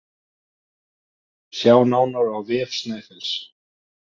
Sjá nánar á vef Snæfells